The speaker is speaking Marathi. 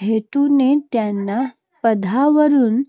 हेतूने त्यांना पदावरून